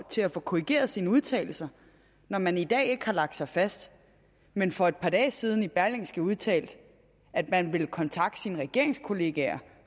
til at få korrigeret sine udtalelser når man i dag ikke har lagt sig fast men for et par dage siden i berlingske udtalte at man ville kontakte sine regeringskollegaer